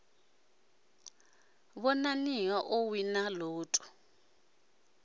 ḓivhona o wina lotto a